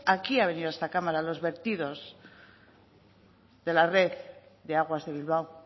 aquí han venido a esta cámara los vertidos de la red de aguas de bilbao